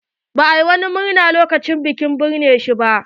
Ba a yi ko wani muena lokacin binnewar shi ba.